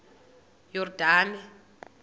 yordane